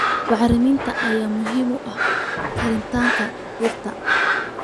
Bacriminta ayaa muhiim u ah koritaanka dhirta.